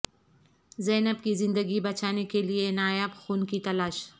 زینب کی زندگی بچانے کے لیے نایاب خون کی تلاش